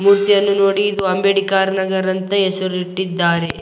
ಮೂರ್ತಿ ಅನ್ನು ನೋಡಿ ಇದು ಅಂಬೇಡ್ಕರ್ ನಗರ ಎಂದು ಹೆಸರು ಇಟ್ಟಿದ್ದಾರೆ .